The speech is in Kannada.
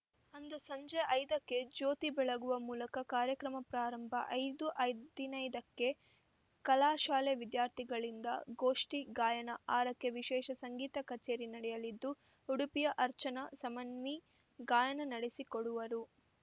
ಅಂದು ಸಂಜೆ ಐದಕ್ಕೆ ಜ್ಯೋತಿ ಬೆಳಗುವ ಮೂಲಕ ಕಾರ್ಯಕ್ರಮ ಪ್ರಾರಂಭ ಐದು ಹದಿನೈದಕ್ಕೆ ಕಲಾಶಾಲೆ ವಿದ್ಯಾರ್ಥಿಗಳಿಂದ ಗೋಷ್ಠಿ ಗಾಯನ ಆರಕ್ಕೆ ವಿಶೇಷ ಸಂಗೀತ ಕಚೇರಿ ನಡೆಯಲಿದ್ದು ಉಡುಪಿಯ ಅರ್ಚನ ಸಮನ್ವಿ ಗಾಯನ ನಡೆಸಿಕೊಡುವರು